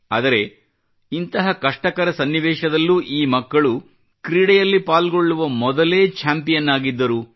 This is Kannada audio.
ಆದರೆ ಇಂತಹ ಕಷ್ಟಕರ ಸನ್ನಿವೇಶದಲ್ಲೂ ಈ ಮಕ್ಕಳು ಕ್ರೀಡೆಯಲ್ಲಿ ಪಾಲ್ಗೊಳ್ಳುವ ಮೊದಲೇ ಚಾಂಪಿಯನ್ ಆಗಿದ್ದರು